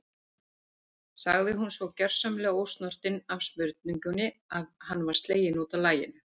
sagði hún, svo gersamlega ósnortin af spurningunni að hann var sleginn út af laginu.